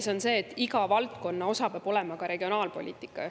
See on see, et igas valdkonnas peab osa olema ka regionaalpoliitika.